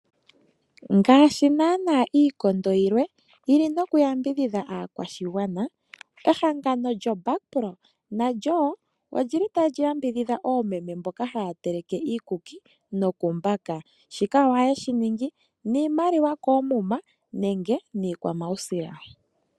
Ngashi nana iikondo yilwe yili noku yambidhidha aakwashigwana. Ehangano lyoBackpro nalyo wo olili tali yambidhidha oomeme mboka haya taleke iikuki nokumbaka, shika ohaye shi ningi niimaliwa komuma nenge niikwamawusila.